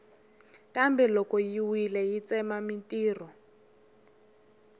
kambe loko yi wile yi tsema mintirho